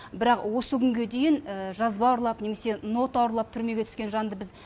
бірақ осы күнге дейін жазба ұрлап немесе нота ұрлап түрмеге түскен жанды